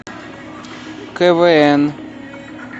квн